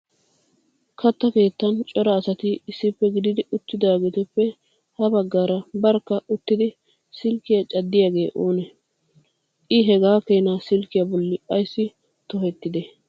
Katta keettan cora asati issippe gididi ittidaageetuppe ha baggaara barkka uttidi silkkiya caddiyaagee oonee? I hagaa keena sillkiya bolli ayssi tohettide?